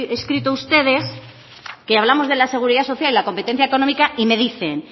escrito ustedes que hablamos de la seguridad social y la competencia económica y me dicen